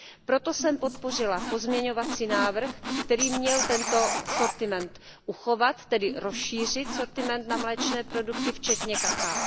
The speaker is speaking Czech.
Proto jsem podpořila pozměňovací návrh, který měl tento sortiment uchovat, tedy rozšířit sortiment na mléčné produkty včetně kakaa.